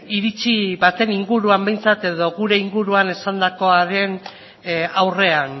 iritzi baten inguruan behintzat edo gure inguruan esandakoaren aurrean